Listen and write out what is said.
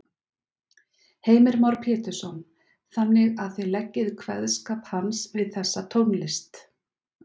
Heimir Már Pétursson: Þannig að þið leggið kveðskap hans við þessa tónlist?